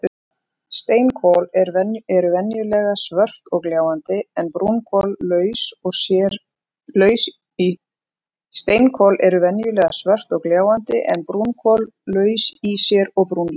Steinkol eru venjulega svört og gljáandi en brúnkol laus í sér og brúnleit.